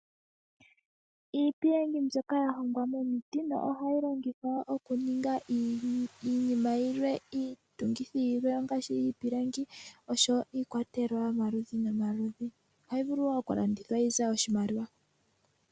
Iipilangi mbyoka ya hongwa momiti nohayi longithwa okuninga iinima yilwe, iitungithi yilwe ngaashi iipilangi noshowo iikwatelwa yomaludhi nomaludhi. Ohayi vulu wo oku landithwa yi ze oshimaliwa.